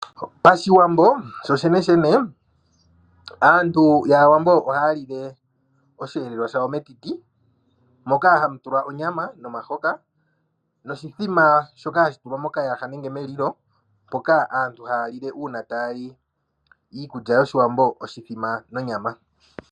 Oshiwambo sho sheneshene aantu yAawambo ohaa lile oshihelwa shawo metiti moka hamu tulwa onyama nomahoka noshithima. Ohashi shika hashi tulwa mokayaha nenge melilo moka aantu haalile uuna taa li iikulya yOshiwambo oshuthima nonyama.